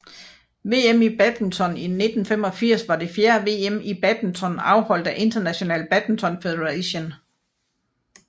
VM i badminton 1985 var det fjerde VM i badminton afholdt af International Badminton Federation